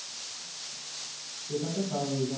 সেটা তো স্বাভাবিক।